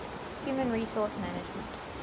human resource management